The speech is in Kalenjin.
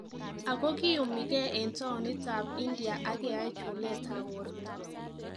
Ako kiyumii kee en towunitab India ak keyai chuleetab borto